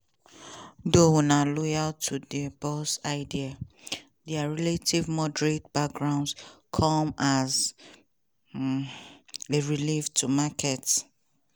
though um loyal to dia boss ideas dia relatively moderate backgrounds come as um a relief to markets.